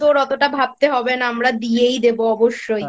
তোর অতটা ভাবতে হবে না আমরা দিয়েই দেব অবশ্যই।